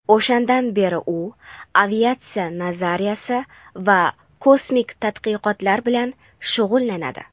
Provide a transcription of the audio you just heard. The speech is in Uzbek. O‘shandan beri u aviatsiya nazariyasi va kosmik tadqiqotlar bilan shug‘ullanadi.